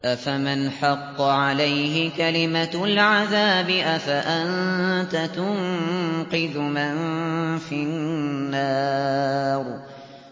أَفَمَنْ حَقَّ عَلَيْهِ كَلِمَةُ الْعَذَابِ أَفَأَنتَ تُنقِذُ مَن فِي النَّارِ